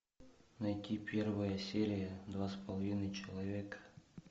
найти первая серия два с половиной человека